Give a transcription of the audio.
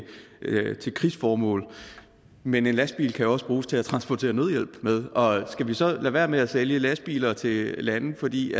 krigsformål men en lastbil kan jo også bruges til at transportere nødhjælp med og skal vi så lade være med at sælge lastbiler til lande fordi